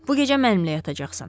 Bu gecə mənimlə yatacaqsan.